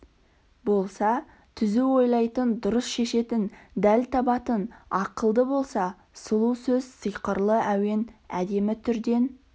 болса түзу ойлайтын дұрыс шешетін дәл табатын ақылды болса сұлу сөз сиқырлы әуен әдемі түрден